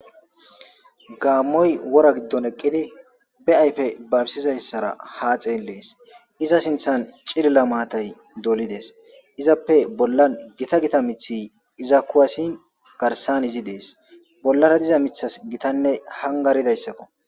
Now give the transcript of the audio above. gaammoy wora giddon eqqidi be ayfe babisizayssara haa xeelees iza sinthan cilila maatay dolides izappe bollan gita gita mithi iza kuwasin garsan izi dees bollara diza mithas gitanne hangaridayssakko.